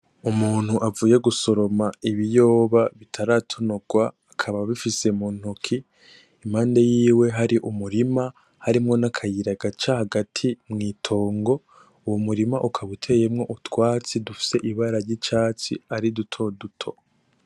Umuntu avuye gusoroma ibiyoba bitaratonorwa akaba abifise mu ntoke , impande yiwe hari umurima harimwo n'akayira gaca hagati mw'itongo , uwo murima ukaba uteyemwo utwatsi dufise ibara ry'icatsi ari dutoduto.